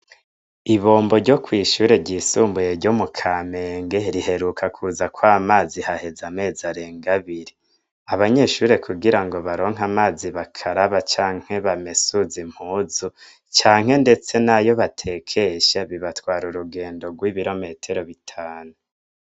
Ibombo ryo kw'ishure ryisumbuye ryo mu Kamenge, riheruka kuzako mazi haheze amezi arenga abiri. Abanyeshure kugira ngo baronke amazi bakara canke bamesuze impuzu, canke ndetse n'ayo batekesha bibatwara urugendo rw'ibirometero bitanu.